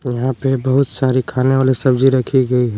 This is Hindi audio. यहां पे बहुत सारी खाने वाली सब्जी रखी गयी है।